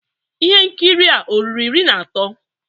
Ihe nkiri a ọ̀ ruru iri na atọ?